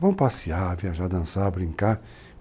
Vamos passear, viajar, dançar, brincar.